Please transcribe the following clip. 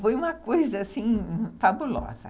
Foi uma coisa, assim, fabulosa.